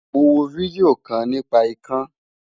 Mo wo fídíò kan nípa ikán.